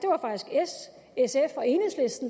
s